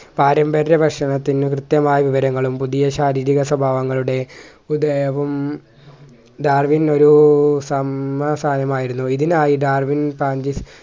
പാരമ്പര്യ വശ്യനത്തിനു കൃത്യമായ വിവരങ്ങളും പുതിയ ശാരീരിക സ്വഭാവങ്ങളുടെ ഡാർവിൻ ഒരു സാനമായിരുന്നു ഇതിനായി ഡാർവിൻ